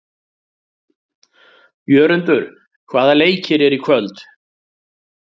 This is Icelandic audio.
Jörundur, hvaða leikir eru í kvöld?